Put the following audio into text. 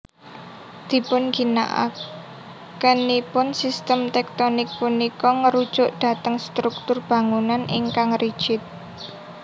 Dipunginakakenipun system tektonik punika ngrujuk dhateng struktur bangunan ingkang rigid